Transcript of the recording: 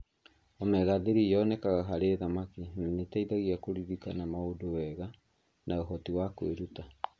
Omega-3 yonekaga harĩ thamaki na nĩ ĩteithagia kũririkana maũndũ wega na ũhoti wa kwĩruta.